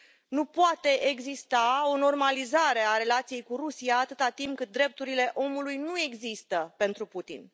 Nu poate exista o normalizare a relației cu Rusia atât timp cât drepturile omului nu există pentru Putin.